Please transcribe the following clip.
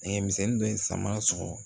Nɛgɛmisɛnnin dɔ sama sɔgɔ